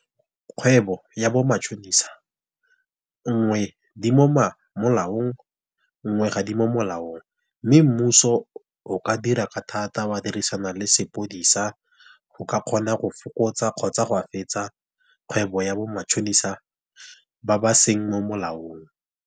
Kgwebo ya bo matšhonisa nngwe di mo molaong nngwe ga di mo molaong. Mme mmuso o ka dira ka thata wa dirisana le sepodisa, go ka kgona go fokotsa kgotsa go a fetsa kgwebo ya bo matšhonisa ba ba seng mo molaong.